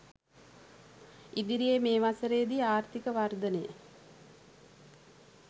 ඉදිරියේ මේ වසරේ දී ආර්ථික වර්ධනය